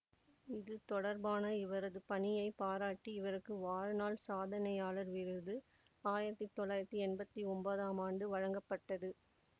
இது தொடர்பான இவரது பணியைப் பாராட்டி இவருக்கு வாழ்நாள் சாதனையாளர் விருது ஆயிரத்தி தொள்ளாயிரத்தி எம்பத்தி ஒம்போதம் ஆண்டு வழங்கப்பட்டது